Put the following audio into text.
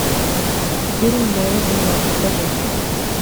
фильм моя земля покажи